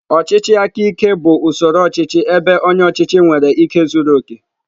Ọchịchị aka ike bụ usoro ọchịchị ebe onye ọchịchị nwere ike zuru oke.